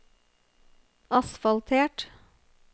asfaltert